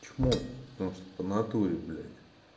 чмо потому что по натуре блять